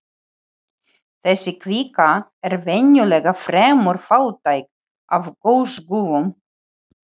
Þessi kvika er venjulega fremur fátæk af gosgufum.